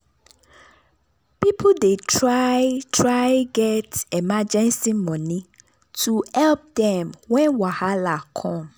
people dey try try get emergency money to help dem when wahala come.